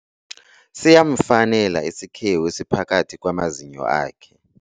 Siyamfanela isikhewu esiphakathi kwamazinyo akhe.